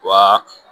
Wa